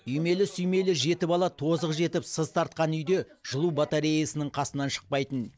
үймелі сүймелі жеті бала тозығы жетіп сыз тартқан үйде жылу батареясының қасынан шықпайтын